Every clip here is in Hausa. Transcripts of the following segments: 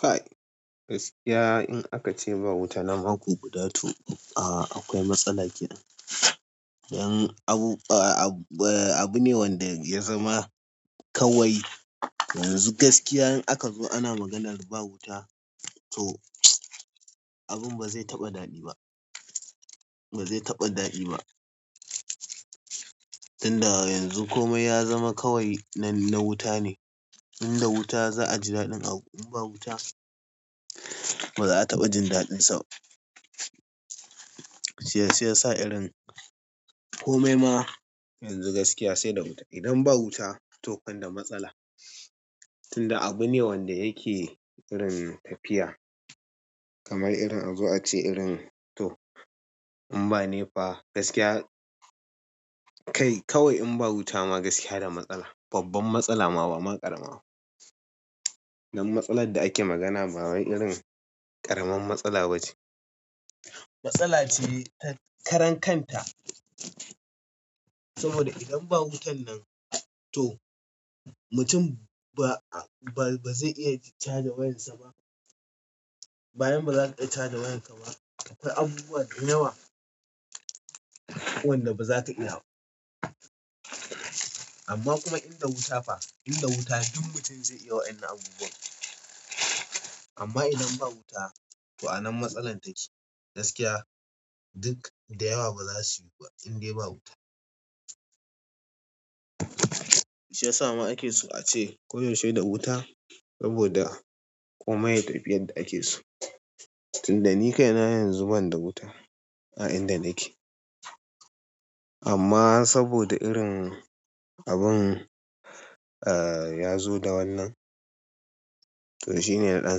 Kai, gaskiya in aka ce ba wuta na mako guda tu a-a akwai matsala. Don abu, a-a-abu ne wanda ya zama kawai yanzu gaskiya in aka zo ana maganar ba wuta toh. Abin ba zai taɓa daɗi ba. Ba zai taɓa daɗi ba tunda yanzu komai ya zama kawai na wuta ne inda wuta za a ji daɗin abu, in ba wuta ba za a taɓa jin daɗinsa. Shi yasa sa irin komai ma yanzu gaskiya sai da wuta. Idan ba wuta to kan da matsala. Tunda abu ne wanda yake irin tafiya kamar irin, a zo a ce irin to in ba nefa gaskiya, kai kawai in ba wuta ma gaskiya da matsala. Babban matsala ma bama ƙarama ba dan matsalar da ake magana ba wai irin ƙaraman matsala ba ce. Matsala ce ta karan kanta saboda idan ba wutan nan to mutum ba a, ba zai iya ji charge wayarsa ba. Bayan ba za ka iya charge wayarka ba. Akwai abubuwa da yawa wanda ba za ka iya ba. Amma kuma inda wuta fa, inda wuta duk mutum zai iya waƴannan abubuwan. Amma idan ba wuta, to anan matsalar take. Gaskiya duk da yawa ba za su yi ba indai ba wuta. Shi ya sa ma ake so a ce koyaushe da wuta saboda komai ya tafi yadda ake so. Tunda ni kai na yanzu ban da wuta a inda nake. Amma saboda irin abun ah ya zo da wannan, to shi ne na ɗan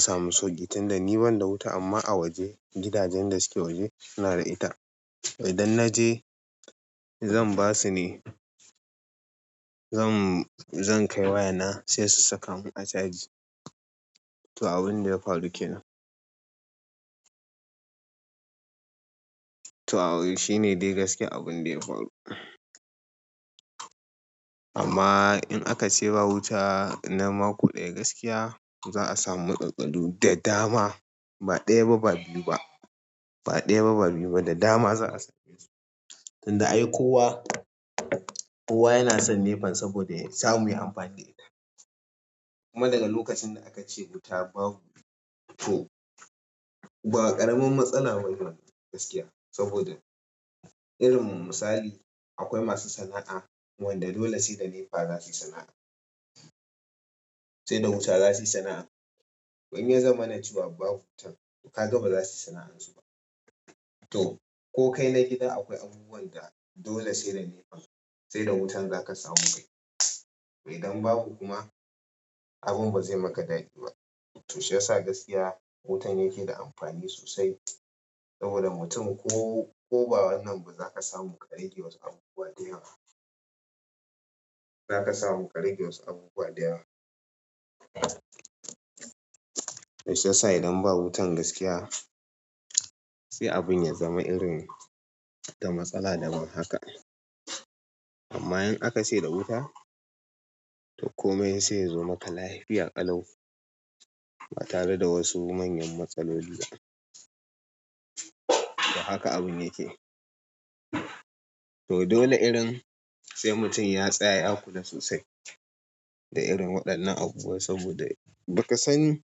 samu sauƙi. Tunda ni ban da wuta amma a waje, gidajen da suke waje suna da ita. Idan na je zan ba su ne, zan, zan kai wayana sai su saka mun a caji. To abun da ya faru ke nan. To shine dai gaskiya abun da ya faru amma in aka ce ba wuta na mako ɗaya gaskiya za a samu matsaltsalu da dama. Ba ɗaya ba ba biyu ba. Ba ɗaya ba ba biyu ba da dama za'a samesu tunda ai kowa, kowa yana son nefa saboda ya samu ya yi amfani da ita. Kuma daga lokacin da aka ce wuta babu to ba ƙaramin matsala bane wannan gaskiya. Saboda irin misali akwai masu sana'a wanda dole sai da nefa za su yi sana'a. Sai da wuta za su yi sana'a. In ya zama cewa babu wuta to ka ga ba za su yi sana'an su ba. To ko kai na gida akwai abubuwan da dole sai da nefa sai da wuta za ka samu kai. Idan babu kuma abin ba zai maka daɗi ba. To shi ya sa gaskiya wutan yake da amfani sosai, saboda mutum ko ko ba wannan ba za ka samu karage wasu abubuwa da yawa. Za ka samu ƙarƙe wasu abubuwa da yawa. Shi ya sa idan ba wutan gaskiya sai abun ya zama irin da matsala daban haka. Amma in aka ce da wuta to komai sai yazo maka lafiya ƙalau. Ba tare da wasu manyan matsaloli. To haka abun yake. To dole irin sai mutum ya tsaya ya kula sosai da irin waɗannan abubuwa saboda ba ka sani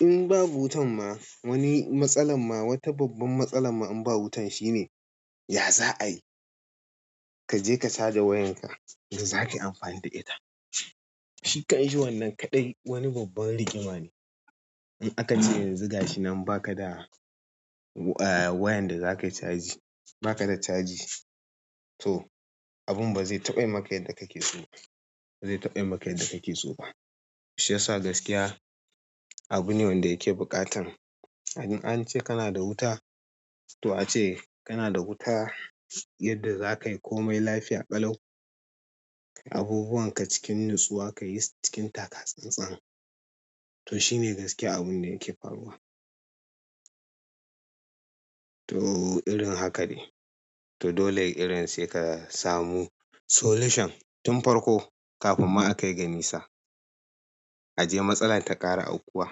in babu wutan ma wani matsalar ma wata babban matsalar ma in ba wutan shine ya za a yi? Ka je ka charge wayanka da za ka yi amfani da ita. Shi kan shi wannan kaɗai wani babban rigima ne. In aka ce yanzu gashi nan ba ka da a, wayan da za ka yi charge, ba ka da caji to abun ba zai taɓa yi maka yadda kake so ba. Ba zai taɓa yi maka yadda kake so ba. Shi ya sa gaskiya abu ne wanda yake buƙatan in ance kana da wuta to a ce kana da wuta yadda za ka yi komai lafiya ƙalau. Abubuwan ka cikin nusuwa ka yi cikin taka-tsan-tsan. To shi ne gaskiya abun da yake faruwa. To irin haka ne. To dole irin sai ka samu solution tun farko kafin ma akai ga nisa ajiye matsalar ta ƙara aukuwa.